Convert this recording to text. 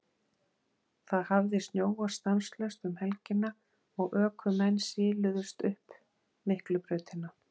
Það hafði snjóað stanslaust um helgina og ökumenn siluðust upp Miklubrautina.